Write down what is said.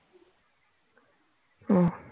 ও